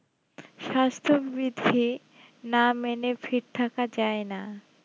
স্বাস্থবিধি না মেনে fit থাকা যাই না